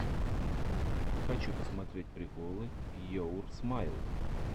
хочу посмотреть приколы йоур смайл